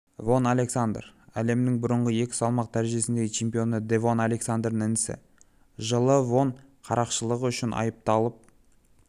вон александер әлемнің бұрынғы екі салмақ дәрежесіндегі чемпионы девон александердің інісі жылы вон қарақшылығы үшін айыпталып